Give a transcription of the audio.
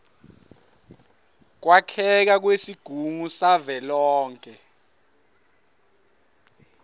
kwakheka kwesigungu savelonkhe